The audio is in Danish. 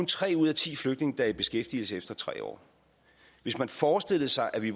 tre ud af ti flygtninge der er i beskæftigelse efter tre år hvis man forestiller sig at vi